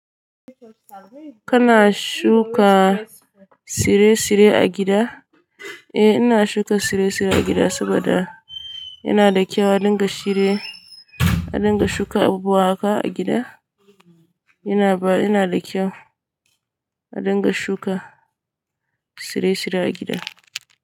Kana shuka tsire-tsire a gida? Eh ina shuka tsire-tsire a gida saboda yana da kyau a dinga tsire, a dinga shuka abubuwa haka a gida. Yana ba, yana da kyau a dinga shuka tsire-tsire a gida.